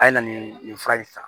A ye na nin nin fura in san